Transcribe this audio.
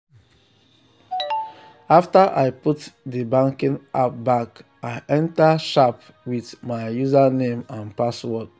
after i put the banking app back i enter sharp with my username and password.